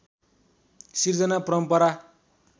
सृजना परम्परा